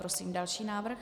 Prosím další návrh.